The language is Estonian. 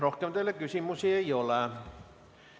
Rohkem teile küsimusi ei ole.